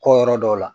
Kɔ yɔrɔ dɔw la